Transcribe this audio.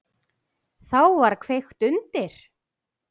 Þá var kveikt undir.